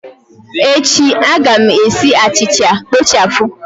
Echi, a ga m esi achịcha kpochapụ